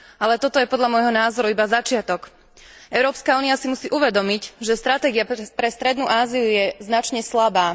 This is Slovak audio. Ale toto je podľa môjho názoru iba začiatok. Európska únia si musí uvedomiť, že stratégia pre strednú Áziu je značne slabá.